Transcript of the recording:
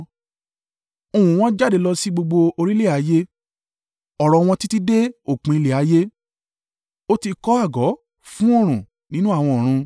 Ohùn wọn jáde lọ sí gbogbo orílẹ̀ ayé, ọ̀rọ̀ wọn títí dé òpin ilẹ̀ ayé. Ó ti kọ́ àgọ́ fún oòrùn nínú àwọn ọ̀run.